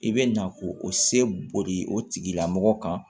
I bɛ na ko o se boli o tigilamɔgɔ kan